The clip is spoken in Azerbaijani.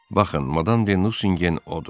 Baxın, Madam de Nusingen odur.